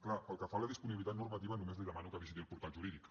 clar pel que fa a la disponibilitat normativa només li demano que visiti el portal jurídic